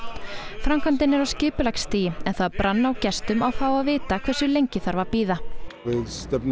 framkvæmdin er á skipulagsstigi en það brann á gestum að fá að vita hversu lengi þarf að bíða stefnum